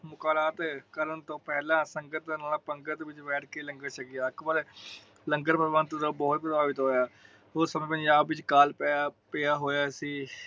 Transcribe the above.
ਮੁਲਾਕਾਤ ਕਰਨ ਤੋਂ ਪਹਿਲਾ ਸੰਗਤ ਨਾਲ ਪੰਗਤ ਵਿੱਚ ਬੈਠ ਕੇ ਲੰਗਾਰ ਛਕਿਆ । ਅਕਬਰ ਲੰਗਰ ਪ੍ਰਬੰਧ ਤੋਂ ਬੋਹਤ ਪ੍ਰਪਾਵਿਤ ਹੋਇਆ । ਉਸ ਸਮੇ ਪੰਜਾਬ ਵਿਚ ਕਾਲ ਪਇਆ ਹੋਇਆ ਸੀ ।